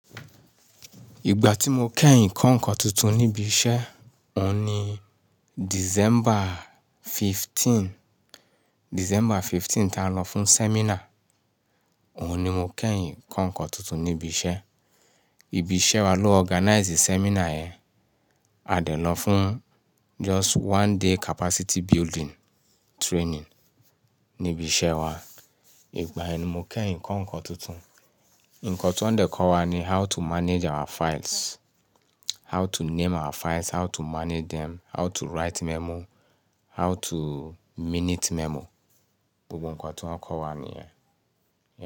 Ìgbà tí mo kẹ́yìn kọ́ ǹkan tuntun níbi iṣẹ́, òun ni December 15, December 15 tá a lọ fún seminar. Òun ni mo kẹ́yìn kọ́ ǹkan tuntun níbi iṣẹ́. Ibi iṣẹ́ wa ló organize seminar yẹn. A dẹ̀ lọ fún just one day capacity building training níbi iṣẹ́ wa. Ìgbàyẹn ni mo kẹ́yìn kọ́ ǹkan tuntun. Ǹkan tí wọn dẹ̀ kọ́ wa ni how to manage our files, how to name our files, how to manage them, how to write memo, how to minute memo. Gbogbo ǹkan tí wọ́n kọ́ wa nìyẹn.